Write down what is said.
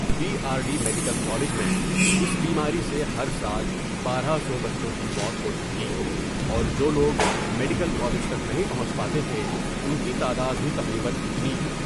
D R D medical college میں اس بیماری سے ہر سال بارہ سو بچوں کی موت ہوتی تھی اور جولوگ میڈیکل کالج تک نہیں پہونچ پاتے تھے ، ان کی تعداد بھی تقریبا اتنی